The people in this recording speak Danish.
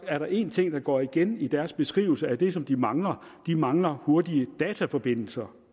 er der en ting der går igen i deres beskrivelse af det som de mangler de mangler hurtige dataforbindelser